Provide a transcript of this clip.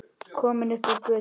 Komin upp á götuna.